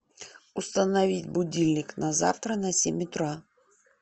установить будильник на завтра на семь утра